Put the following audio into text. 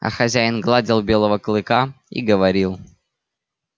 а хозяин гладил белого клыка и говорил